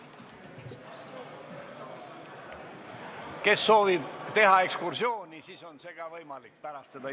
Kui keegi soovib teha ekskursiooni, siis see on võimalik pärast istungit.